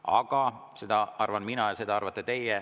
Aga seda arvan mina ja seda arvate teie.